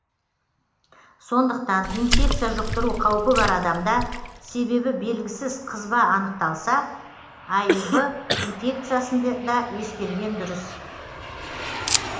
сондықтан инфекция жұқтыру қаупі бар адамда себебі белгісіз қызба анықталса аив инфекциясын да ескерген дұрыс